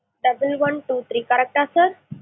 double one two three correct டா sir?